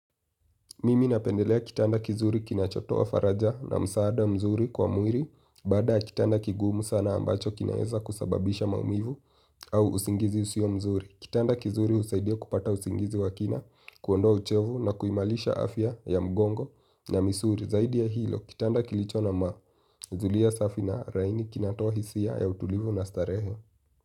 Mimi napendelea kitanda kizuri kinachotoa faraja na msaada mzuri kwa mwili. Baada ya kitanda kigumu sana ambacho kinaeza kusababisha maumivu au usingizi usio mzuri kitanda kizuri husaidia kupata usingizi wa kina kuondoa uchovu na kuimalisha afya ya mgongo na misuli. Zaidi ya hilo kitanda kilicho na ma zulia safi na laini kinatoa hisia ya utulivu na starehe.